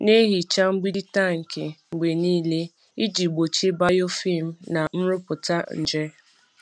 Na-ehicha mgbidi tankị mgbe niile iji gbochie biofilm na nrụpụta nje.